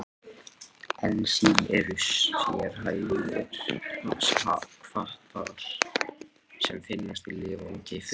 Ensím eru sérhæfðir hvatar sem finnast í lifandi frumum.